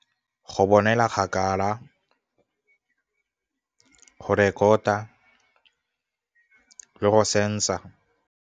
Go bonela kgakala, rekota, le go senser.